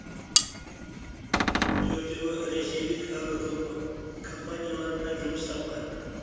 төртеуі ресейлік компаниялардан жұмыс тапқан